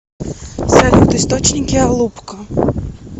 салют источники алупка